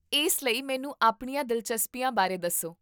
ਇਸ ਲਈ, ਮੈਨੂੰ ਆਪਣੀਆਂ ਦਿਲਚਸਪੀਆਂ ਬਾਰੇ ਦੱਸੋ